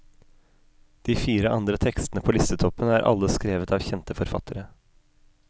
De fire andre tekstene på listetoppen er alle skrevet av kjente forfattere.